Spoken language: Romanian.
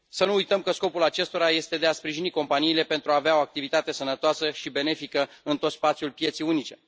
Să nu uităm că scopul acestora este de a sprijini companiile pentru a avea o activitate sănătoasă și benefică în tot spațiul pieței unice.